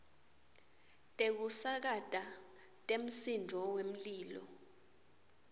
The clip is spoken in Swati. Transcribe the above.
tekusakata temsindvo wemlilo